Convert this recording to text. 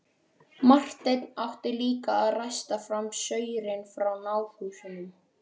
Marteinn átti líka að ræsta fram saurinn frá náðhúsunum.